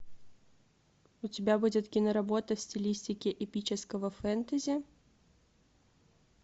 у тебя будет киноработа в стилистике эпического фэнтези